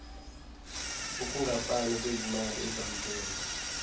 ukungafani kwezimali ezamkelwa